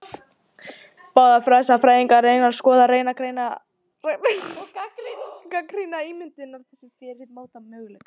Báðar þessar fræðigreinar skoða, greina og gagnrýna ímyndirnar sem fyrir eru og móta nýja möguleika.